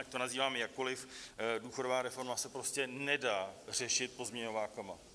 Ať to nazýváme jakkoli, důchodová reforma se prostě nedá řešit pozměňovákama.